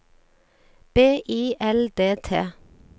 B I L D T